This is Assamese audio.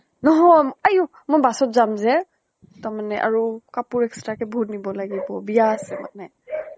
নহয় আইঅ, মই bus ত যাম যে। তাৰ মানে আৰু কাপোৰ extra ক নিব লাগিব। বিয়া আছে মানে।